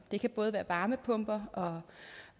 det kan både være varmepumper